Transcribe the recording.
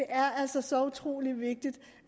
er altså så utrolig vigtigt